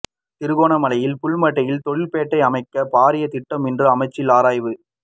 திருகோணமலை புல்மோட்டையில் தொழில்பேட்டை அமைக்கும் பாரிய திட்டம் இன்று அமைச்சில் ஆராய்வு